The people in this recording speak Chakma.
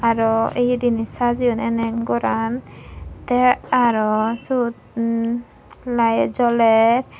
aro eya dinay sajayoun eney goran te aro sot um light joler.